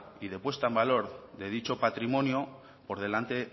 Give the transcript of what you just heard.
y de puesta en valor de dicho patrimonio por delante